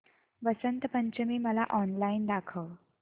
वसंत पंचमी मला ऑनलाइन दाखव